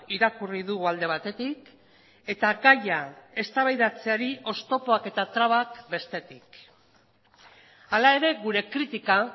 irakurri dugu alde batetik eta gaia eztabaidatzeari oztopoak eta trabak bestetik hala ere gure kritika